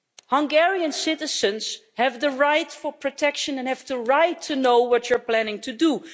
Hungarian citizens have the right to protection and the right to know what you're planning to do.